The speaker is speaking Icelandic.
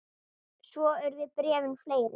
Svo urðu bréfin fleiri.